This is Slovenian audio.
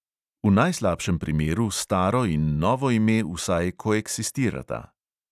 V najslabšem primeru staro in novo ime vsaj koeksistirata.